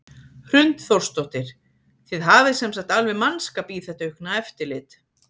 Hrund Þórsdóttir: Þið hafið sem sagt alveg mannskap í þetta aukna eftirlit?